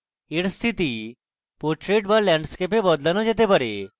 এর স্থিতি portrait be landscape এ বদলানো যেতে পারে